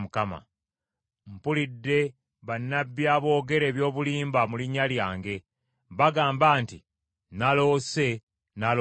“Mpulidde bannabbi aboogera eby’obulimba mu linnya lyange. Bagamba nti, ‘Naloose! Naloose!’